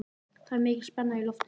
Það er mikil spenna í loftinu.